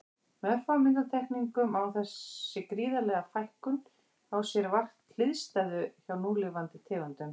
Með örfáum undantekningum á þessi gríðarlega fækkun á sér vart hliðstæðu hjá núlifandi tegundum.